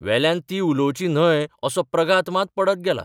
वेल्यान ती उलोवची न्हय असो प्रघात मात पडत गेला.